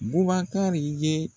Bubakari ye